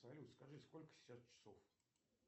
салют скажи сколько сейчас часов